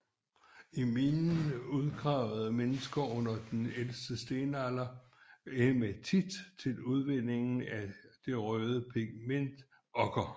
I minen udgravede menesker under den ældste stenalder hæmatit til udvinding af det røde pigment okker